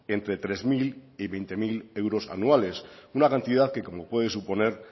entre tres mil y veinte mil euros anuales una cantidad que como puede suponer